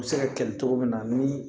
U bɛ se ka kɛlɛ cogo min na ni